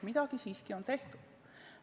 Midagi on siiski tehtud.